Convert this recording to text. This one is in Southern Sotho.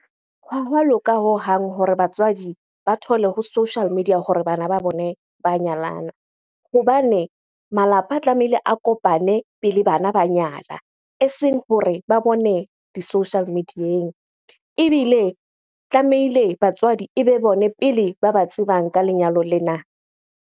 Hwa hwa loka hohang hore batswadi ba thole ho social media hore bana ba bone ba nyalana. Hobane malapa a tlamehile a kopane pele bana ba nyala, eseng hore ba bone di-social media-eng. Ebile tlamehile batswadi ebe bone pele ba ba tsebang ka lenyalo lena.